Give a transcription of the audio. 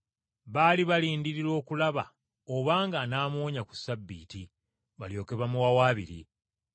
Baali balindirira okulaba obanga anaamuwonya ku Ssabbiiti balyoke bamuwawaabire.